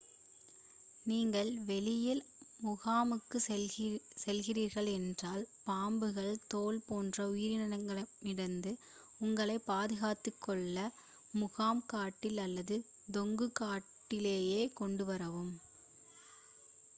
நீங்கள் வெளியில் முகாமுக்குச் செல்கிறீர்கள் என்றால் பாம்புகள் தேள் போன்ற உயிரினங்களிடமிருந்து உங்களைப் பாதுகாத்துக்கொள்ள முகாம் கட்டில் அல்லது தொங்கும் கட்டிலைக் கொண்டுவரவும்